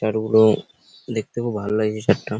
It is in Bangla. চানাচুর গুলো দেখতে খুব ভালো লাগছে চাটটা।